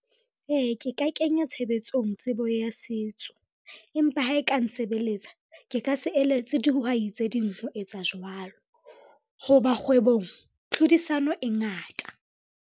Ee, ke ka kenya tshebetsong tsebo ya setso, empa ha e ka nsebeletsa, ke ka se eletse dihwai tse ding ho etsa jwalo, ho ba kgwebong tlhodisano e ngata.